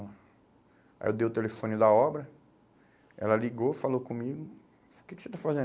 Aí eu dei o telefone da obra, ela ligou, falou comigo, o que que você está